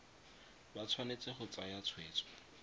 ba tshwanetse go tsaya tshweetso